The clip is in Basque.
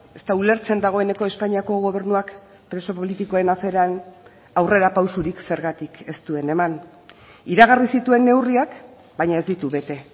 ez da ulertzen dagoeneko espainiako gobernuak preso politikoen aferan aurrerapausorik zergatik ez duen eman iragarri zituen neurriak baina ez ditu bete